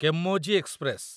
Chemmozhi express